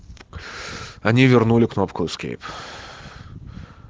они вернули кнопку эскейп